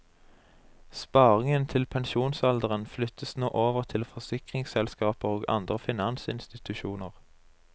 Sparingen til pensjonsalderen flyttes nå over til forsikringsselskaper og andre finansinstitusjoner.